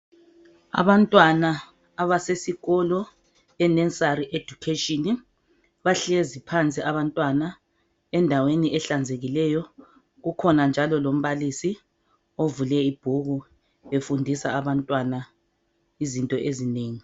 Abantwana abasesikolo e nursery education bahlezi phansi abantwana endaweni ehlanzekileyo kukhona njalo umbalisi ovule ibhuku efundisa abantwana izinto ezinengi.